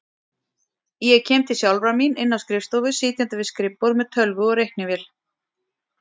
Ég kem til sjálfrar mín inni á skrifstofu, sitjandi við skrifborð með tölvu og reiknivél.